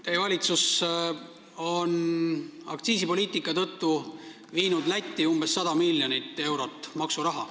Teie valitsus on aktsiisipoliitika tõttu viinud eelmisel aastal Lätti umbes 100 miljonit eurot maksuraha.